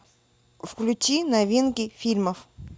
включи новинки фильмов